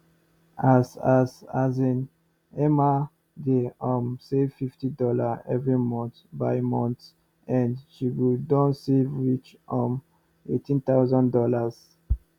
as as um emma dey um save 50 dollar every month by month end she go doh save reach um 18000 dollars